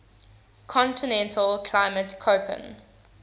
continental climate koppen